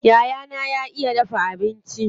Yayana ya iya dafa abinci.